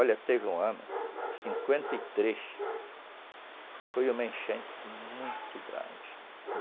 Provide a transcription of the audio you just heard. Olha, teve um ano, cinquenta e três, foi uma enchente muito grande.